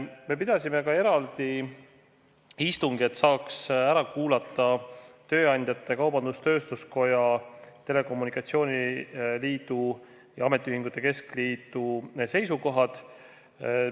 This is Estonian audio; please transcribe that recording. Me pidasime ka eraldi istungi, et saaks ära kuulata tööandjate, Kaubandus-Tööstuskoja, telekommunikatsiooni liidu ja ametiühingute keskliidu seisukohad.